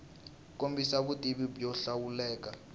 kombisa vutivi byo hlawuleka bya